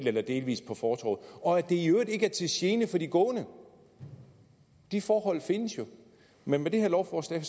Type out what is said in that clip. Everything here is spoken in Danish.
eller delvis på fortovet og at det i øvrigt ikke er til gene for de gående de forhold findes jo men med det her lovforslag